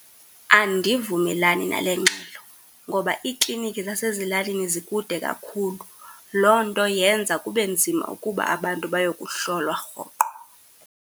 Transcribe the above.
Andivumelani nale ngxelo ngoba iiklinikhi zasezilalini zikude kakhulu. Loo nto yenza kube nzima ukuba abantu bayokuhlolwa rhoqo.